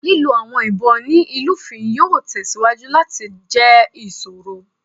Lilo awọn ibon ni ilufin yoo tẹsiwaju lati jẹ iṣoro.